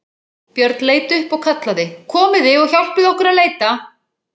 Björn leit upp og kallaði:-Komiði og hjálpið okkur að leita!